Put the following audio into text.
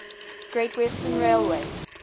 great western railway